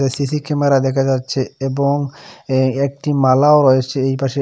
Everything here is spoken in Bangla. সি_সি ক্যামেরা দেখা যাচ্ছে এবং এ একটি মালাও রয়েসে এই পাশে।